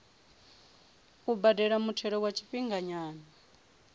u badela muthelo wa tshifhinganyana